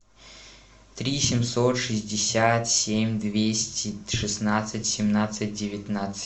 три семьсот шестьдесят семь двести шестнадцать семнадцать девятнадцать